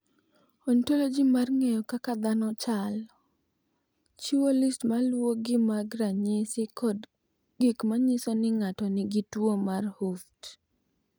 "Ontoloji mar ng’eyo kaka dhano chalo, chiwo list ma luwogi mag ranyisi kod gik ma nyiso ni ng’ato nigi tuwo mar Hooft."